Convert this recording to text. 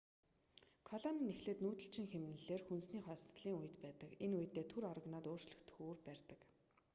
колони нь эхлээд нүүдэлчин хэмнэлээр хүнсний хосдолын үед байдаг энэ үедээ түр орогноод өөрчлөгдөх үүр барьдаг